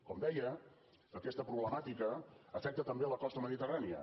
com deia aquesta problemàtica afecta també la costa mediterrània